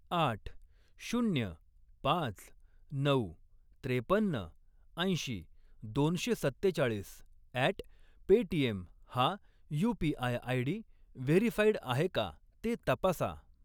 आठ, शून्य, पाच, नऊ, त्रेपन्न, ऐंशी, दोनशे सत्तेचाळीस अॅट पेटीएम हा यू.पी.आय. आयडी व्हेरीफाईड आहे का ते तपासा.